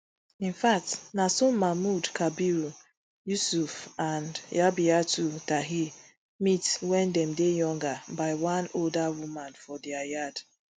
infact na so mahmud kabir yusuf and rabiatu tahir meet wen dem dey younger by one older woman for dia yard